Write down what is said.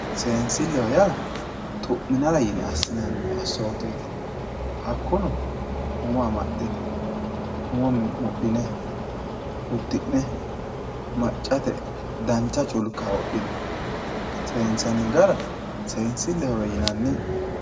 Seensileho yaa xu'minanni yine assinanni assoteti hakkuno uddine umo mudhine maccate dancha culka wodhine seensanni gara seensilehowe yinanni.